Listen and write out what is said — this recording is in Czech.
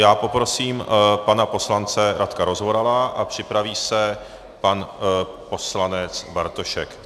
Já poprosím pana poslance Radka Rozvorala a připraví se pan poslanec Bartošek.